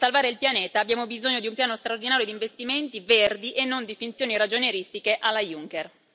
Per salvare il pianeta abbiamo bisogno di un piano straordinario di investimenti verdi e non di finzioni ragionieristiche alla Juncker.